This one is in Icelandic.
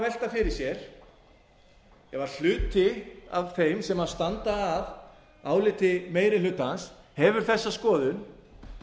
fyrir sér að ef hluti af þeim sem standa að áliti meiri hlutans hefur þessa skoðun